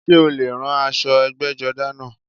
Sé o lè rán aṣọ ẹgbẹ́jọdá náà?